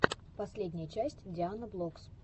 последняя часть дианаблокс